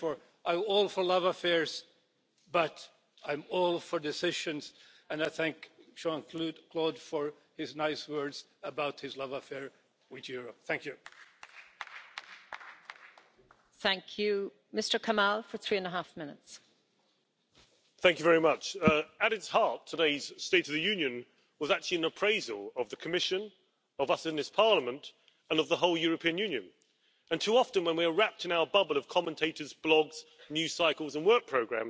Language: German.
Frau Präsidentin! Diese Debatte hat gezeigt, dass wir das Vertrauen der Bürgerinnen und Bürger in die Europäische Union stärken müssen. Deswegen wende ich mich an die Kommission, die Herren Kommissare. Ich bin der Auffassung, dass diese Diskussion Konsequenzen haben muss. Ja, wir haben gesagt Wir brauchen eine Grundsicherung für jedes Kind in der Europäischen Union. Der Präsident der Kommission hat geantwortet und hat gesagt, er werde